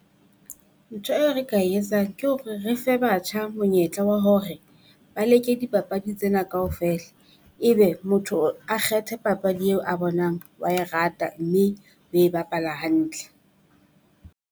Ntho eo re ka e etsang ke hore re fe batjha monyetla wa hore ba leke dipapadi tsena kaofela. Ebe motho a kgethe papadi eo a bonang wa e rata mme o e bapala hantle.